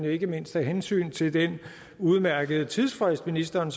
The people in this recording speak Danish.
ikke mindst af hensyn til den udmærkede tidsfrist ministeren